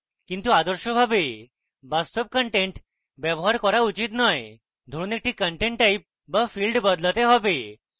কিন্তু আদর্শভাবে বাস্তব content ব্যবহার করা উচিত নয় ধরুন একটি content type but field বদলাতে হবে